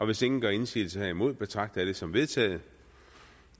hvis ingen gør indsigelse herimod betragter jeg det som vedtaget